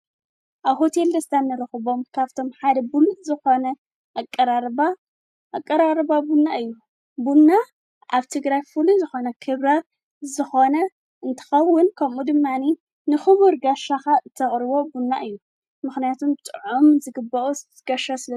ኣብ ሆቴል ደስታ ንረክቦም ካብቶም ሓደ ሙሉእ ዝኾነ ኣቀራርባ ኣቀራርባ ቡና እዩ ቡና ኣብ ትግራይ ፍሉይዝኾነ ክብረ ዝኾነ እንትኸውን ከምኡ ድማኒ ንኽቡር ጋሻኻ እተቕርቦ ቡና እዩ ምኽንያቱን ብጥዑም ዝግብኦ ጋሻ ስለ።